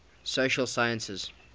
social sciences